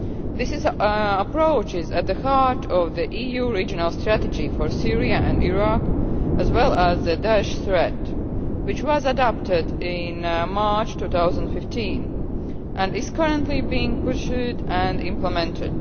This approach is at the heart of the EU regional strategy for Syria and Iraq as well as the Daesh threat, which was adopted in March 2015 and is currently being pursued and implemented.